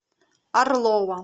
орлова